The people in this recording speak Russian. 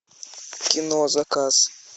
кино заказ